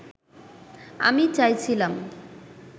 আমি চাইছিলাম